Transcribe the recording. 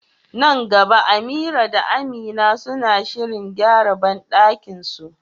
Nan gaba Amira da Amina suna shirin gyara bandakinsu.